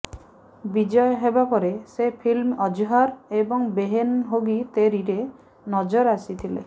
ବିଜୟ ହବ ପରେ ସେ ଫିଲ୍ମ ଅଜ୍ହର ଏବଂ ବେହେନ ହୋଗି ତେରୀରେ ନଜର ଆସିଥିଲେ